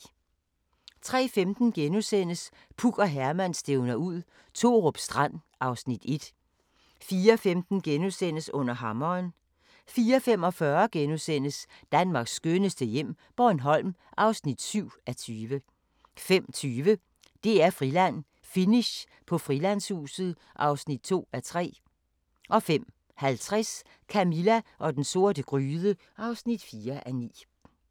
03:15: Puk og Herman stævner ud – Thorup Strand (Afs. 1)* 04:15: Under hammeren * 04:45: Danmarks skønneste hjem - Bornholm (7:20)* 05:20: DR-Friland: Finish på Frilandshuset (2:3) 05:50: Camilla og den sorte gryde (4:9)